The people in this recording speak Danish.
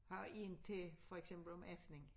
Har én til for eksempel om aftenen